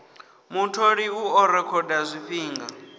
mutholi u ḓo rekhoda zwifhinga